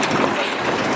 Gəldik, gəldik.